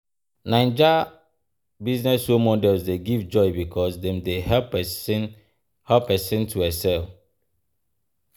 Naija business role models dey give joy becuase dem dey help pesin to excel.